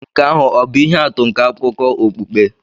Nke ahụ ọ̀ bụ ihe atụ nke akụkọ okpukpe?